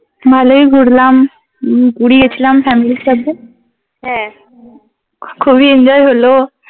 ভালোই ঘুরলাম। উমম পুরী গেছিলাম Family সাথে। হ্যাঁ খুবই Enjoy হলো।